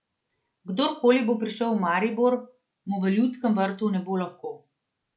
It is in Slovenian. Kdorkoli bo prišel v Maribor, mu v Ljudskem vrtu ne bo lahko.